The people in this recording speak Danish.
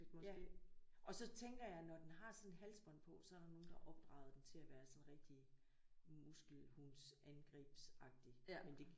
Ja. Og så tænker jeg når den har sådan et halsbånd på så er der nogen der har opdraget den til at være sådan rigtig muskelhunds angribsagtig. Men det